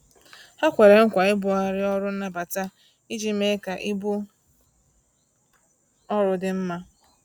Ha kwere nkwa ibughari ọrụ nnabata iji mee ka ibu ọrụ dị mma